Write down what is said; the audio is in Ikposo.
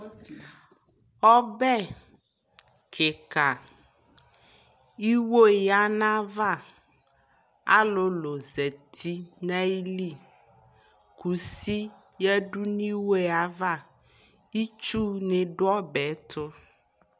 ɔbɛ kikaa iwɔ yanʋ aɣa, alʋlʋ zati nʋ ayili kʋsi yadʋ nʋ iwɔɛ aɣa, itsʋ ni dʋ ɔbɛ tʋ